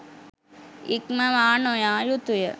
ඉක්මවා නොයා යුතුය